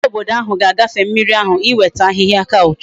Ndi obodo ahu ga agafe mmiri ahu iweta ahihia couch